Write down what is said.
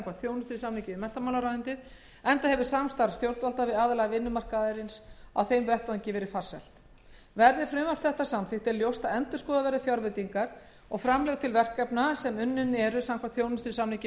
þjónustusamningi við menntamálaráðuneytið enda hefur samstarf stjórnvalda við aðila vinnumarkaðarins á þeim vettvangi verið farsælt verði frv þetta samþykkt er ljóst að endurskoða verður fjárveitingar og framlög til verkefna sem unnin eru samkvæmt þjónustusamningi